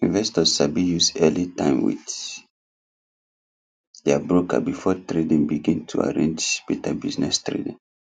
investors sabi use early time with their broker before trading begin to arrange better business trading